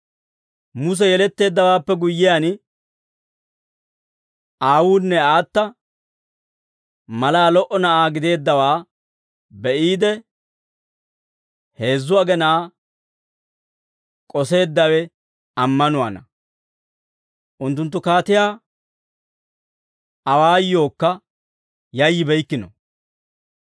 Muse yeletteeddawaappe guyyiyaan, aawuunne aata malaa lo"o na'aa gideeddawaa be'iide, heezzu agenaa k'oseeddawe ammanuwaana; unttunttu kaatiyaa awaayookka yayyibeykkino.